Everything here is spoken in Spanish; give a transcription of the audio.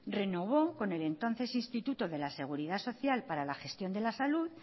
renovó con el entonces instituto de la seguridad social para la gestión de la salud